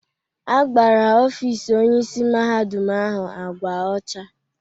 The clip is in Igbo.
Agbara ọfis Onyeisi Mahadum ahụ ágwá ọcha.